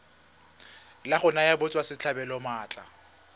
la go naya batswasetlhabelo maatla